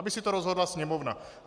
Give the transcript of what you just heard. Aby si to rozhodla Sněmovna.